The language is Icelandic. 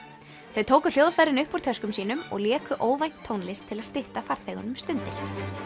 þau tóku hljóðfærin upp úr töskum sínum og léku óvænt tónlist til að stytta farþegunum stundir